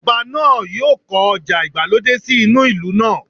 Ọba náà yóò kọ́ ọjà ìgbàlódé sí inú ìlú náà